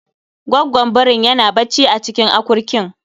Goggon birin yana bacci a cikin akurkin.